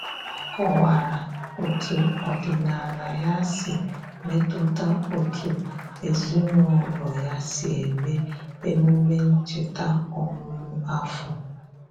O kọwara otu ọdịnala ya si metụta otú ezinụlọ ya si eme emume ncheta ọmụmụ afọ.